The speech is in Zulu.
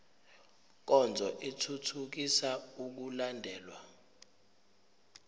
nkonzo ithuthukisa ukulandelwa